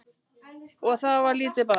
Og það var lítið barn.